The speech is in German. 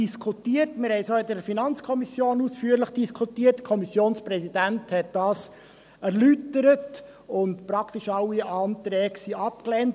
Wir diskutierten es auch in der FiKo ausführlich, der Kommissionspräsident hat dies erläutert, und praktisch alle Anträge wurden abgelehnt.